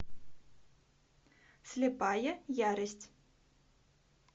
слепая ярость